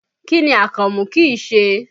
Kí ni Akànmú kìí ṣe?